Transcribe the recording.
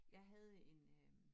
Jeg havde en øh